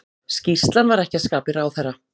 Skýrslan var ekki að skapi ráðherra